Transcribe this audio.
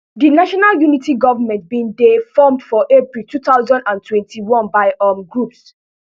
di national unity government bin dey formed for april two thousand and twenty-one by um groups